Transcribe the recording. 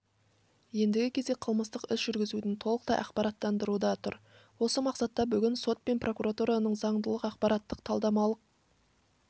ендігі кезек қылмыстық іс жүргізуді толықтай ақпараттандыруда тұр осы мақсатта бүгін сот пен прокуратураның заңдылық ақпараттық-талдамалық